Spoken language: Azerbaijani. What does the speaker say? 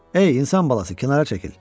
Ey insan balası, kənara çəkil!